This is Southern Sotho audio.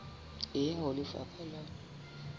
e ya ho lefapha la